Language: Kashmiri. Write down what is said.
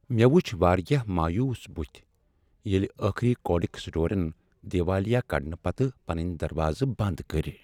مےٚ ؤچھ واریاہ مایوس بٔتِھۍ ییلہِ ٲخری کوڈک سٹورن دیوالِیہ کڈنہ پتہٕ پنٕنۍ دروازٕ بند کٔرۍ ۔